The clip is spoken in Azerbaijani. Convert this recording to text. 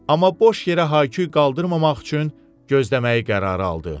Amma boş yerə hay-küy qaldırmamaq üçün gözləməyi qərara aldı.